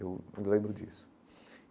Eu lembro disso.